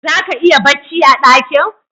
Zaka iya bacci a dakin